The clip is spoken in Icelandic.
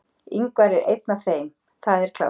Ingvar er einn af þeim, það er klárt.